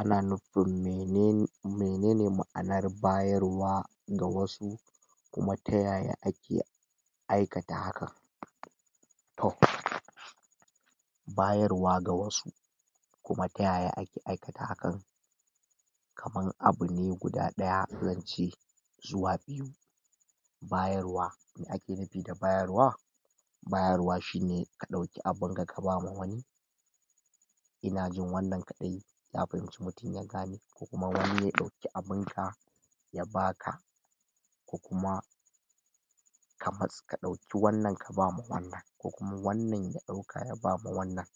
Ana nufin mene menene ma’anar bayarwa ga wasu kuma ta yaya ake aikata haka. Toh bayarwa ga wasu kuma ta yaya ake aikata hakan kamar abu ne guda ɗaya zance zuwa biyu. Bayarwa me ake nufi da bayarwa, bayarwa shine ka ɗauki abinka ka ba ma wani. Ina jin wannan kaɗai na fahimci mutum ya gane. Ko kuma wani ya ɗauki abinka ya ba ka ko kuma kamar ka ɗauki wannan ka ba ma wannan, ko kuma wannan ya ɗauka ya ba ma wannan.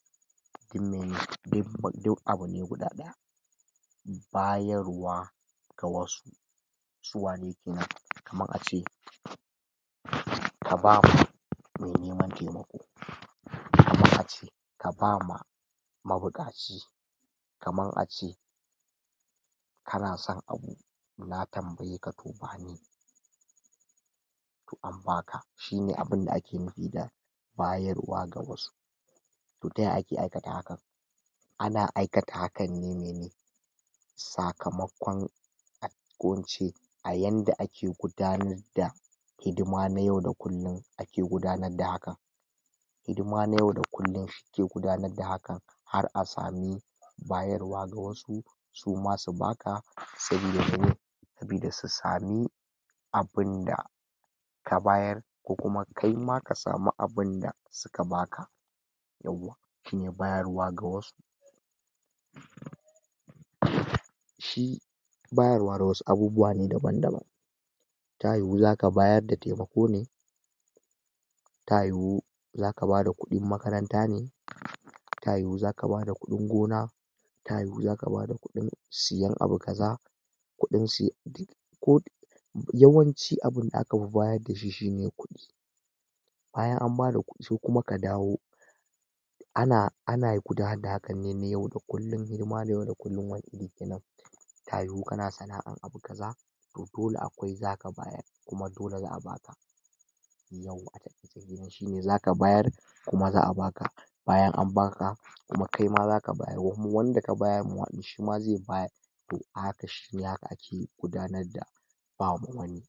Duk mene? Duk abu ne guda ɗaya. Bayarwa ga wasu su waye kenan? Kamar a ce ka ba mai neman taimako ka ba ma mabuƙaci, kamar a ce kana son abu na tambaye ka to bani. Toh an ba ka, shine abin da ake nufi da bayarwa ga wasu. Toh ta yaya ake aikata hakan? Ana aikata hakan ne mene sakamakon ko in ce yadda ake gudanar da hidima na yau da kullum ake gudanar da haka. Hidima na yau da kullum ke gudanar da hakan har a sami bayarwa ga wasu su ma su ba ka. Sabida mene? Sabida su sami abin da ka bayar ko kuma kaima ka samu abin da suka ba ka. Yawwa, shine bayarwa ga wasu um shi bayarwa ga wasu abubuwa ne daban-daban. Ta yiwu zaka bayar da taimako ne, ta yiwu zaka ba da kuɗin makaranta ne, ta yiwu zaka ba da kuɗin gona, ta yiwu zaka ba da kuɗin siyan abu kaza, kuɗin siyan… ko yawanci abin da aka yi bayar da shi shine kuɗi. Bayan an ba da kuɗi se kuma ka dawo. Ana ana gudanar da haka ne na yau da kullum, hidima na yau da kullum. Wani iri kenan? Ta yiwu kana sana’a abu kaza, toh dole akwai zaka bayar kuma dole za a ba ka. Shine zaka bayar kuma za a ba ka. Bayan an ba ka kuma kaima zaka bayar, kuma wanda ka bayar mawa ɗin shima ze bayar. Toh fa haka, shi haka ake gudanar da ba ma wani.